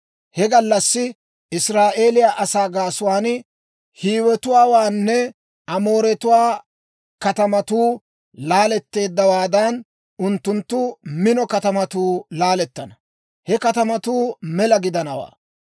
He gallassi Israa'eeliyaa asaa gaasuwaan Hiiwetuwaanne Amooretuwaa katamatuu laaletteeddawaadan, unttunttu mino katamatuu laalettana; he katamatuu mela gidanawantta.